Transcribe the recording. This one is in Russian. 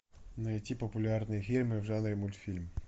найти популярные фильмы в жанре мультфильм